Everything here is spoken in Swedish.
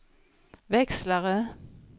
växlare